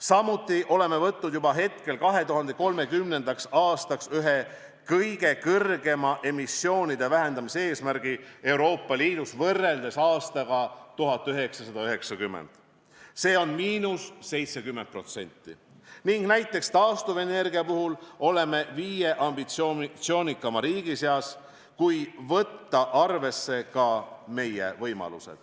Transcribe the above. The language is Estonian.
Samuti oleme võtnud juba hetkel 2030. aastaks ühe kõige kõrgema emissioonide vähendamise eesmärgi Euroopa Liidus võrreldes aastaga 1990, s.o –70%, ning näiteks taastuvenergia puhul oleme viie ambitsioonikama riigi seas, kui võtta arvesse ka meie võimalusi.